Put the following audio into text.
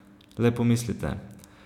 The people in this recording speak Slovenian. Le pomislite.